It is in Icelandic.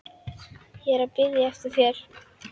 Ég er að bíða eftir þér.